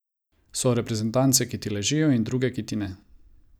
So reprezentance, ki ti ležijo, in druge, ki ti ne.